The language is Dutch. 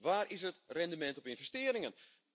Waar is het rendement op investeringen?